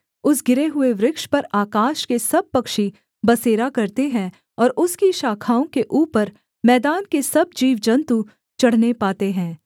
उस गिरे हुए वृक्ष पर आकाश के सब पक्षी बसेरा करते हैं और उसकी शाखाओं के ऊपर मैदान के सब जीवजन्तु चढ़ने पाते हैं